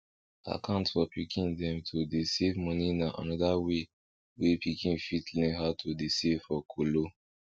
akant for pikin dem to dey save money na another way wey pikin fit learn how to dey save for kolo